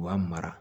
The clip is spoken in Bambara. U b'a mara